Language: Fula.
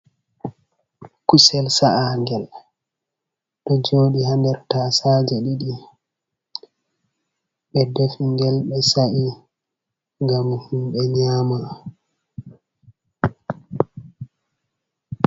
Kusel sa’a ngel, ɗo jodi ha nder tasaje, ɗiɗi ɓe defi ngel, ɓe sa’i, ngam himɓɓe nyama.